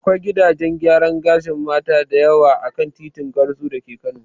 Akwai gidajen gyaran gashin Mata da yawa a kan titin Gwarzo da ke Kano.